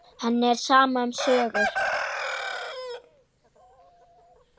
Henni er sama um sögur.